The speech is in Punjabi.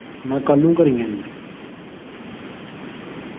ਮੈਂ ਕੱਲ ਨੂੰ ਘਰੇ ਹੀ ਆ ਜੀ